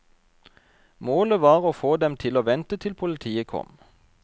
Målet var å få dem til å vente til politiet kom.